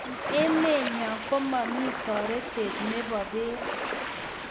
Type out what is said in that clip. Eng emenyo komami toretet nebo beek